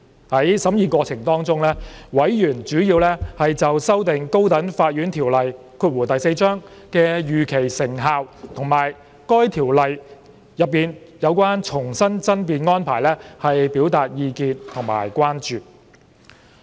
在審議過程中，委員主要就修訂《高等法院條例》的預期成效和該條例內的重新爭辯安排表達意見和關注。